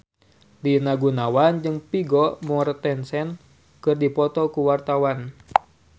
Rina Gunawan jeung Vigo Mortensen keur dipoto ku wartawan